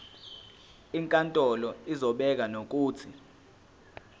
inkantolo izobeka nokuthi